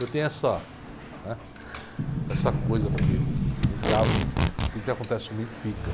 Eu tenho essa, né? Essa coisa comigo, eu gravo, aquilo que acontece comigo fica.